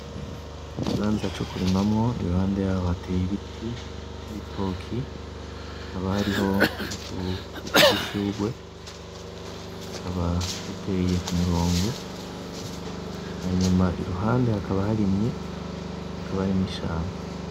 Ikibanza co kurimamwo iruhande yaho hateye ibiti , ibitoki hakaba hariho n’uduti twudushurwe tukaba duteye kumurongo hama iruhande hakaba harimye hakaba hari n’ishamba.